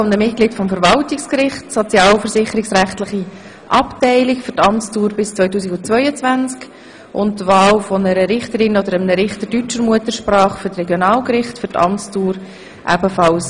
Erstens wählen wir ein Mitglied des Verwaltungsgerichts, sozialversicherungsrechtliche Abteilung, für die Amtsdauer bis 2022, und zweitens eine Richterin oder einen Richter deutscher Muttersprache für die Regionalgerichte, ebenfalls für eine Amtsdauer bis 2022.